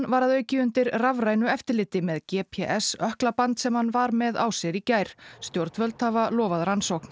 var að auki undir rafrænu eftirliti með g p s ökklaband sem hann var með á sér í gær stjórnvöld hafa lofað rannsókn